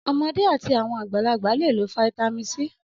Ọmọdé àti àwọn àgbàlagbà le lo fataímìn C.